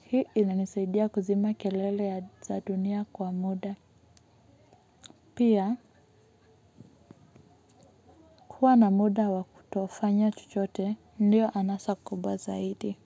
Hii inanisaidia kuzima kelele za dunia kwa muda. Pia kuwa na muda wa kutofanya chochote ndio anasa kubwa zaidi.